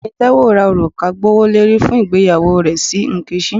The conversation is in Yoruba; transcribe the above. Ọgbẹni Taiwo ra oruka gbowolori fun igbeyawo rẹ si nkechi.